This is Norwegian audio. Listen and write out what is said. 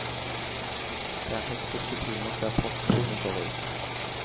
Det er hektiske timer før postbudene går ut.